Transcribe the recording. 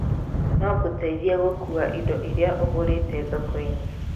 No gũtethie gũkuua indo iria ũgũrĩte thoko-inĩ